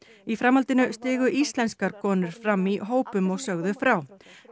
í framhaldinu stigu íslenskar konur fram í hópum og sögðu frá